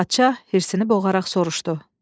Padşah hirsinə boğaraq soruşdu: